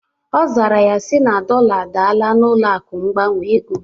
Ọ zara ya sị na dọla adalla n'ụlọ akụ mgbanwe ego